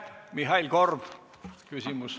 Mihhail Korbilt küsimus.